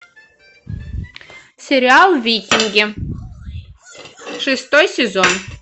сериал викинги шестой сезон